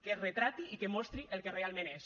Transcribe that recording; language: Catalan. que es retrati i que mostri el que realment és